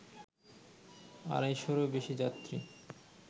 আড়াইশরও বেশি যাত্রী